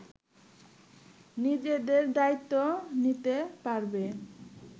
নিজেদের দায়িত্ব নিতে পারবে